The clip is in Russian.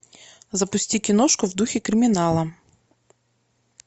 запусти киношку в духе криминала